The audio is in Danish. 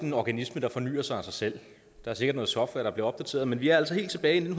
en organisme der fornyer sig af sig selv der er sikkert noget software der er blevet opdateret men vi er altså helt tilbage i